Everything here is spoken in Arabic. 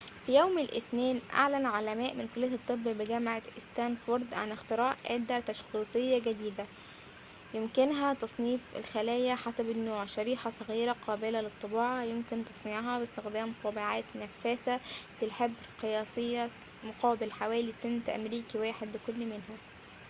في يوم الاثنين أعلن علماء من كلية الطب بجامعة ستانفورد عن اختراع أداة تشخيصية جديدة يمكنها تصنيف الخلايا حسب النوع شريحة صغيرة قابلة للطباعة يمكن تصنيعها باستخدام طابعات نفاثة للحبر قياسية مقابل حوالي سنت أمريكي واحد لكل منها